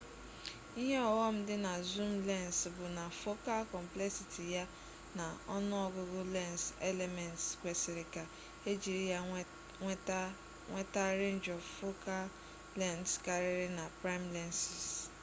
ihe ọghọm dị na zoom lens bụ na focal complexity ya na ọnụọgụgụ lens elements kwesịrị ka ejiri ya nweta a range of focal lengths karịrị na prime lenses